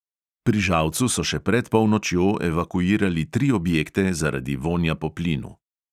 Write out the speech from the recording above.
Pri žalcu so še pred polnočjo evakuirali tri objekte zaradi vonja po plinu.